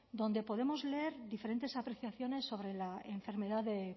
donde podemos leer diferentes apreciaciones sobre la enfermedad de